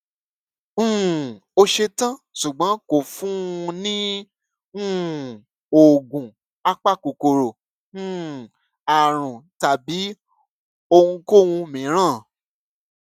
um ó ṣe tán ṣùgbọn kò fún un ní um oògùn apakòkòrò um àrùn tàbí ohunkóhun mìíràn